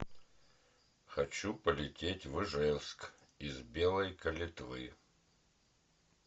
хочу полететь в ижевск из белой калитвы